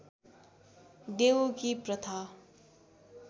देउकी प्रथा